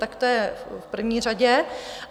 Tak to je v první řadě.